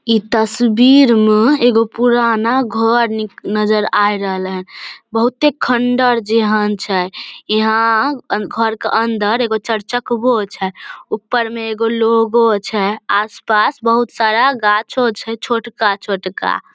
इ तस्वीर मे एगो पुराना घर निक नजर आय रहलेन बहुते खंडर जेहन छै यहाँ घर के अंदर एगो चार चक्कवो छै ऊपर में एगो लोगो छै आस-पास बहुत सारा गांछो छै छोटका छोटका --